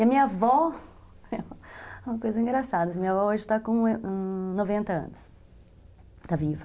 E a minha avó, uma coisa engraçada, minha avó hoje está com noventa anos, está viva.